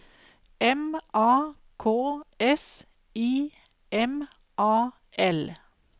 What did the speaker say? M A K S I M A L